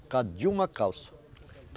Por causa de uma calça.